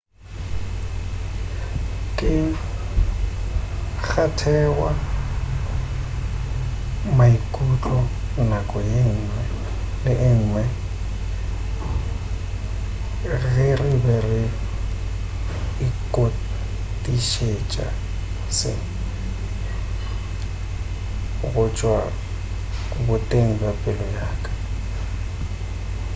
ke kgwathega maikutlo nako ye ngwe le ye ngwe ge re be re itokišetša se go tšwa boteng bja pelo yaka